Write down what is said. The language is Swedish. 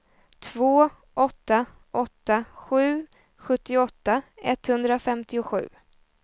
två åtta åtta sju sjuttioåtta etthundrafemtiosju